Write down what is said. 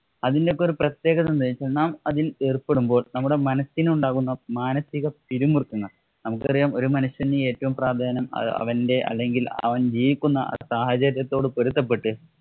അതിന്‍റെയൊക്കെ ഒരു പ്രത്യേകത എന്താണെന്ന് വെച്ചാൽ നാം അതില്‍ ഏര്‍പ്പെടുമ്പോള്‍ നമ്മുടെ മനസിനുണ്ടാകുന്ന മാനസിക പിരിമുറുക്കങ്ങള്‍ നമുക്കറിയാം ഒരു മനുഷ്യന് ഏറ്റവും പ്രാധാന്യം അവന്‍റെ അല്ലെങ്കില്‍ അവന്‍ ജീവിക്കുന്ന സാഹചര്യത്തോട് പൊരുത്തപ്പെട്ട്